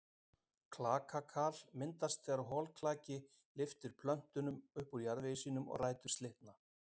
Klakakal myndast þegar holklaki lyftir plöntunum upp úr jarðveginum og rætur slitna.